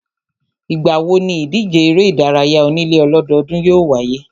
Ìgbà wo níìdíje eré ìdárayá onílé ọlọ́dọọ́dún yóò wáyé?